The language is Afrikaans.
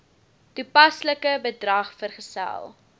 toepaslike bedrag vergesel